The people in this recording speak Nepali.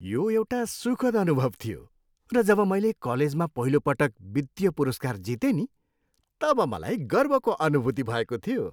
यो एउटा सुखद अनुभव थियो र जब मैले कलेजमा पहिलोपटक वित्तीय पुरस्कार जितेँ नि तब मलाई गर्वको अनुभूति भएको थियो।